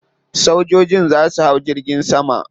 Sojojin za su hau jirgin sama.